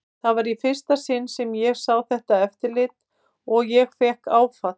Það var í fyrsta sinn sem ég sá þetta eftirlit og ég fékk áfall.